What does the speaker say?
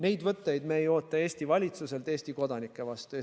Neid võtteid me ei oota Eesti valitsuselt Eesti kodanike vastu.